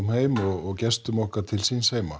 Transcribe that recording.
heim og gestum okkar til síns heima